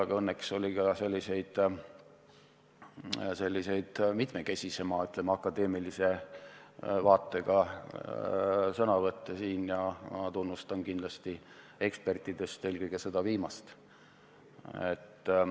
Aga õnneks oli ka selliseid mitmekesisema, ütleme, akadeemilise lähenemisega sõnavõtte ja ma tunnustan kindlasti ekspertidest eelkõige viimast.